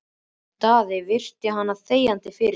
Daði virti hana þegjandi fyrir sér.